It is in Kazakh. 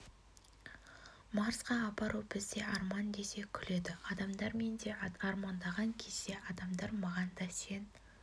марсқа апару бізде арман десе күледі адамдар мен де армандаған кезде адамдар маған да сен